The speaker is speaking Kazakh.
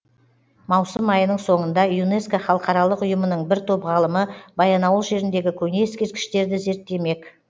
маусым айының соңында юнеско халықаралық ұйымының бір топ ғалымы баянауыл жеріндегі көне ескерткіштерді зерттемек